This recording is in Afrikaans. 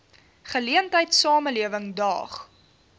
geleentheid samelewing daag